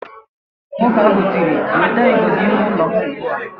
Nwoke ahụ tiri, "wetaa igodo ime ụlọ m ugbu a"!